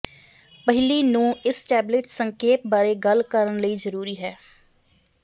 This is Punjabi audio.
ਪਹਿਲੀ ਨੂੰ ਇਸ ਟੈਬਲੇਟ ਸੰਖੇਪ ਬਾਰੇ ਗੱਲ ਕਰਨ ਲਈ ਜ਼ਰੂਰੀ ਹੈ